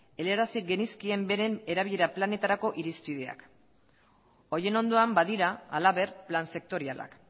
helarazi genizkien beren erabilera planetarako irizpideak horien ondoan badira halaber plan sektorialak